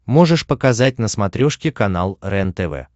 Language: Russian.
можешь показать на смотрешке канал рентв